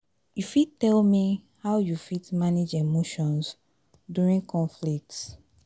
you fit tell me how you fit manage emotions during conflicts?